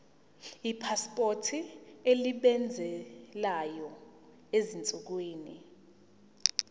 ipasipoti esebenzayo ezinsukwini